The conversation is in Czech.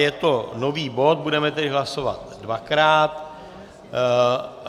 Je to nový bod, budeme tedy hlasovat dvakrát.